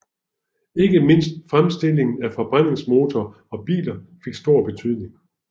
Ikke mindst fremstillingen af forbrændningsmotorer og biler fik stor betydning